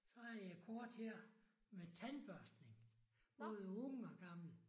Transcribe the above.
Så har jeg et kort her. Med tandbørstning. Både unge og gamle